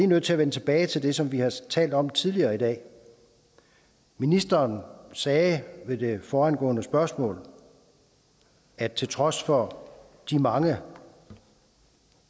nødt til at vende tilbage til det som vi har talt om tidligere i dag ministeren sagde ved det foregående spørgsmål at til trods for de mange